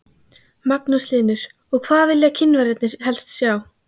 Magnús Hlynur: Og hvað vilja Kínverjarnir helst sjá?